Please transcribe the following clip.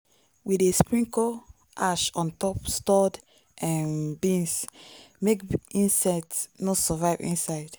we dey sprinkle ash on top stored um beans make insect no survive inside.